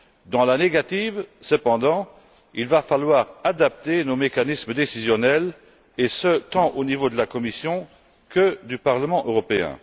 Dans la négative, cependant, il faudra adapter nos mécanismes décisionnels, et ce, tant au niveau de la Commission que du Parlement européen.